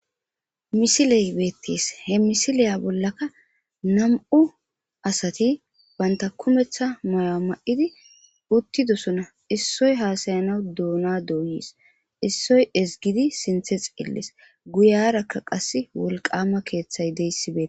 Misile Beetees He Misiliya Bolakka Nam'u Asati Banta Kumeththa Ma',uwa Mayidi Utidosona Essoy Hasayana Doona Doyis Issoy Ezgidi Sinththe Xeeles Guyeraka Qasse Wolqama Keeththay diyaysi Beetees